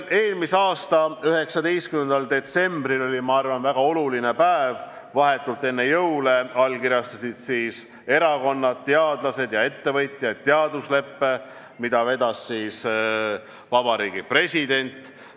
Eelmise aasta 19. detsember oli, ma arvan, väga oluline päev: vahetult enne jõule allkirjastasid erakonnad, teadlased ja ettevõtjad teadusleppe, mida vedas Vabariigi President.